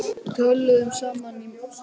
Við töluðum sama málið.